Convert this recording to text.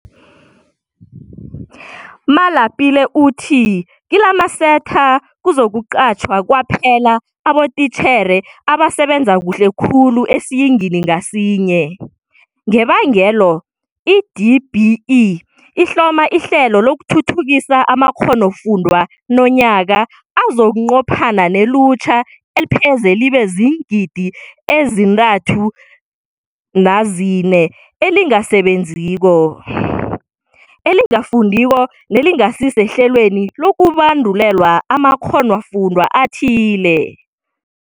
Kodwana-ke kunevalo nokuzaza ebabelethini, ebafundisini beenkolweni nebafundini ngokwabo. Ababelethi bafuna ukuqinisekiswa ngokuthi kuthethwe amagadango afaneleko wokuvikela abafundi ngokwaneleko. Ukuphepha kwezakhamuzi zethu zangomuso kezamaphilo nemzimbeni yazo akusiyinto ekumele kuphikisanwe ngayo.